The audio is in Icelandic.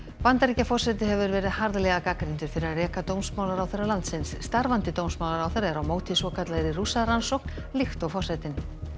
Bandaríkjaforseti hefur verið harðlega gagnrýndur fyrir að reka dómsmálaráðherra landsins starfandi dómsmálaráðherra er á móti svokallaðri Rússarannsókn líkt og forsetinn